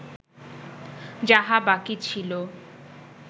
যাহা বাকি ছিল